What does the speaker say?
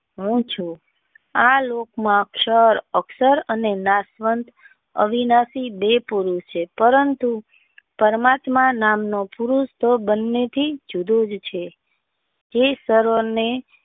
હું ચુ આ લોક માં ક્ષય અક્ષર અને નાશવંત અવિનાશી બે પુરુષ છે પરંતુ પરમેન્ટમાં નામ નો પુરુષ તો બંને થી જુદો જ છે જોઈ સર્વો ને.